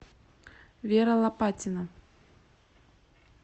вера лопатина